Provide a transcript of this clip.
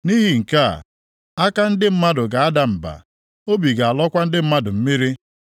Nʼihi nke a, aka ndị mmadụ ga-ada mba, obi ga-alọkwa ndị mmadụ mmiri.